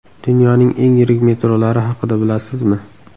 Dunyoning eng yirik metrolari haqida bilasizmi?